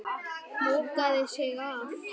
Lokaði sig af.